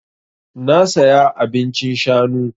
Na saya abincin shanu.